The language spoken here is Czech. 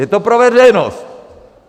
Je to pro veřejnost!